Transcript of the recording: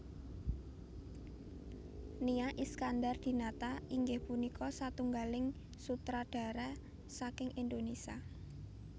Nia Iskandar Dinata inggih punika satunggalipun sutradara saking Indonesia